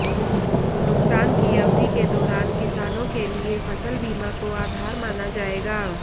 नुकसान की अवधि के दौरान किसानों के लिए फसल बीमा को आधार माना जाएगा